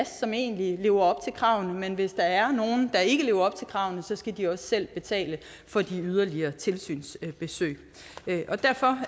som egentlig lever op til kravene men hvis der er nogen der ikke lever op til kravene skal de også selv betale for de yderligere tilsynsbesøg derfor